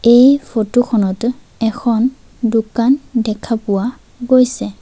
এই ফটো খনত এখন দোকান দেখা পোৱা গৈছে।